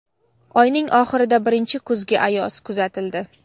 Oyning oxirida birinchi kuzgi ayoz kuzatildi.